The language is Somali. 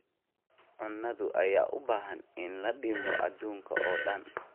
Hadhaaga cunnada ayaa u baahan in la dhimo adduunka oo dhan.